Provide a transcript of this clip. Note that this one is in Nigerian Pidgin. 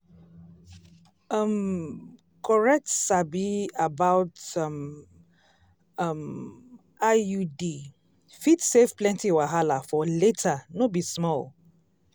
um correct sabi about um um iud fit save plenty wahala for later no be small